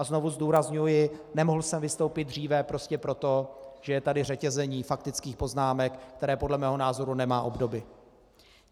A znovu zdůrazňuji: nemohl jsem vystoupit dříve prostě proto, že je tady řetězení faktických poznámek, které podle mého názoru nemá obdoby.